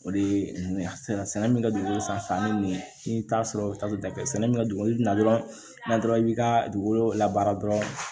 O de ye nin ye a sɛnɛ sɛnɛ min ka jugu san min t'a sɔrɔ dafɛ sɛnɛ min bɛ ka dogo i bɛna dɔrɔn i b'i ka dugukolo labaara dɔrɔn